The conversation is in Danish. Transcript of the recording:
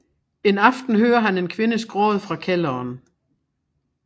En aften hører han en kvindes gråd fra kælderen